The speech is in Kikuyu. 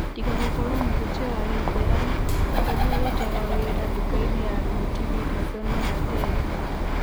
Tiga gũkorwo mũhunjia wa gĩithĩramu, Harũni arutaga wĩra ndukainĩ ya thuiti Wilisoni Rateri.